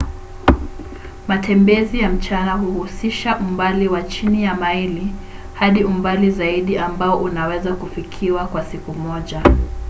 matembezi ya mchana huhusisha umbali wa chini ya maili hadi umbali zaidi ambao unaweza kufikiwa kwa siku moja